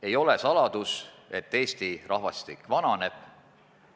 Ei ole saladus, et Eesti rahvastik vananeb.